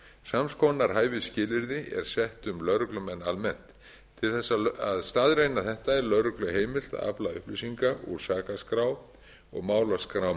sams konar hæfisskilyrði er sett um lögreglumenn almennt til þess að staðreynda þetta er lögreglu heimilt að afla upplýsinga úr sakaskrá og málaskrám